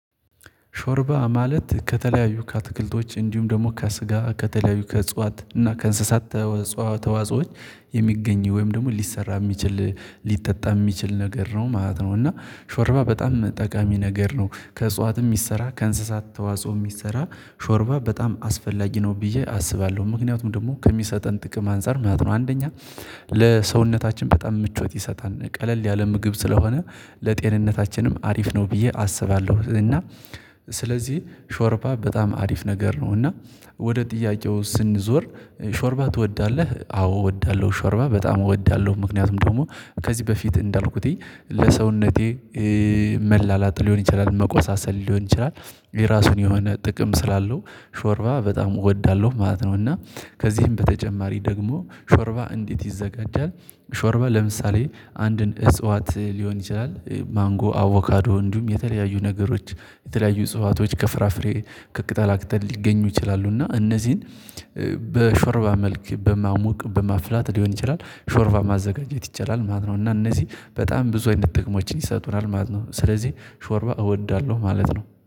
ሾርባ ማለት ከተለያዩ ከአትክልቶች እንዲሁም ደግሞ ከስጋ ከተለያዩ ከእጽዋት እና ከእንስሳት የሚገኙ ወይም ደግሞ ሊሰራ የሚችል ሊጠጣ የሚችል ነገር ነው ማለት ነው። እና ሾርባ በጣም ጠቃሚ ነገር ነው ከእጽዋትም ይሰራል ከእንስሳት ተዋጽኦ የሚሰራ ሾርባ በጣም አስፈላጊ ነው ብዬ አስባለሁ ምክንያቱም ደግሞ ከሚሰጠን ጥቅም አንፃር ማለት ነው አንደኛ ለሰውነታችን በጣም ምቾት ይሰጣል ቀለል ያለ ምግብ ስለሆነ ለጤንነታችንም አሪፍ ነው ብዬ አስባለሁ። እና ሾርባ በጣም አሪፍ ነገር ነው እና ወደ ጥያቄው ስንዞር ሾርባ ትወዳለህ አዎ እወዳለሁ ሾርባ በጣም እወዳለሁ። ምክንያቱም ደግሞ ከዚህ በፊት እንዳልኩት ለሰውነቴ መላላጥ ሊሆን ይችላል መቆሳሰል ሊሆን ይችላል የራሱን የሆነ ጥቅም ስላለው ሾርባ በጣም እወዳለሁ ማለት ነው እና ከዚህም በተጨማሪ ደግሞ ሾርባ እንዴት ይዘጋጃል? ሾርባ ለምሳሌ አንድን እጽዋት ሊሆን ይችላል ማንጎ አቦካዶ እንዲሁም የተለያዩ ነገሮች የተለያዩ እጽዋቶች ከፍራፍሬ ከቅጣላ አክተን ሊገኙ ይችላሉና እነዚህን በሾርባ መልክ በማሞቅ በማፍላት ሊሆን ይችላል ሾርባ ማዘጋጀት ይችላል ማለት ነው። እና እነዚህ በጣም ብዙ አይነት ጥቅሞችን ይሰጡናል ማለት ነው ስለዚህ ሾርባ እወዳለሁ ማለት ነው